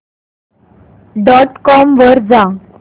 dot com वर जा